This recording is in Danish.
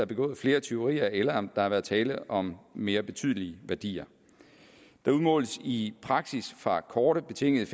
begået flere tyverier eller om der har været tale om mere betydelige værdier der udmåles i praksis fra korte betingede